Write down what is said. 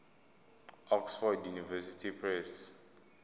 oxford university press